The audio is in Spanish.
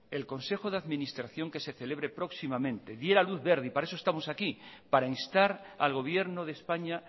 el consejo de administración que se celebre próximamente diera luz verde y para eso estamos aquí para instar al gobierno de españa